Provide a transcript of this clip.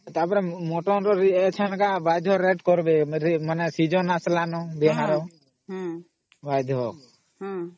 ତ ଅପରେ ଏବେ rate କରବେ ଏବେ mutton season ଆସିଲା ନୁ ବାଧ୍ୟ ...